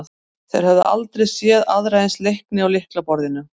Þeir höfðu aldrei séð aðra eins leikni á lyklaborðinu.